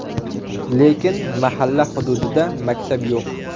Lekin mahalla hududida maktab yo‘q.